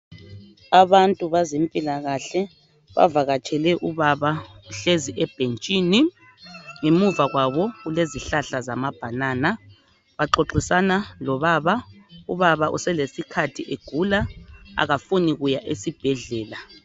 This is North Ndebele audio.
Abantu bezempilakahle bavakatshele ubaba uhlezi ebhentshini ngemuva kwabo kulezihlahla zama banana baxoxisana lobaba ubaba uselesikhathi egula akafuni kuya esibhedlela.